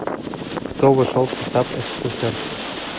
кто вошел в состав ссср